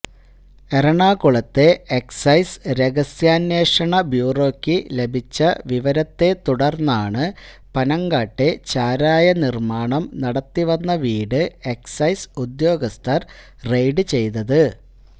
എറണാകുളത്തെ എക്സൈസ് രഹസ്യാന്വേഷണ ബ്യൂറോക്ക് ലഭിച്ച വിവരത്തെ തുടര്ന്നാണ് പനങ്ങാട്ടെ ചാരായനിര്മാണം നടത്തിവന്ന വീട് എക്സൈസ് ഉദ്യോഗസ്ഥര് റെയ്ഡ് ചെയ്തത്